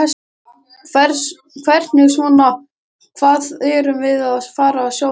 Hvernig svona, hvað erum við að fara sjá þar?